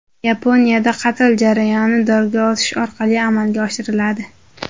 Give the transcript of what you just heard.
Yaponiyada qatl jarayoni dorga osish orqali amalga oshiriladi.